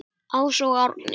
Ása og Árni.